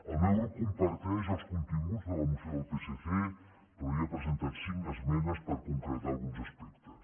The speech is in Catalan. el meu grup comparteix els continguts de la moció del psc però hi ha presentat cinc esmenes per concretar ne alguns aspectes